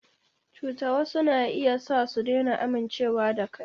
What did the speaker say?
Cuta wasu na iya sa su daina amincewa da kai.